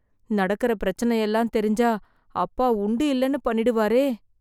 நடக்கற பிரச்சனையெல்லாம் தெரிஞ்சா, அப்பா உண்டு இல்லன்னு பண்ணிடுவாரே...